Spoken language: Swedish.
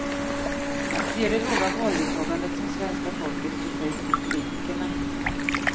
Han ser det låga valdeltagandet som svenska folkets protest mot politikerna.